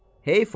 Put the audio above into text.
Heyfa!